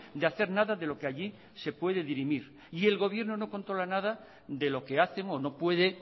de hacer nada de lo que allí se puede dirimir y el gobierno no controla nada de lo que hacemos no puede